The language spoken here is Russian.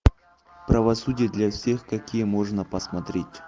правосудия для всех какие можно посмотреть